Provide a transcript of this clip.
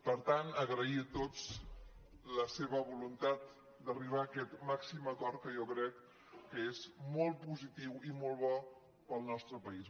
per tant agrair a tots la seva voluntat d’arribar a aquest màxim acord que jo crec que és molt positiu i molt bo per al nostre país